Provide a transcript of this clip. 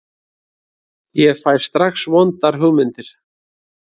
Ég fæ strax vondar hugmyndir.